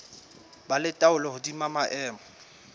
ba le taolo hodima maemo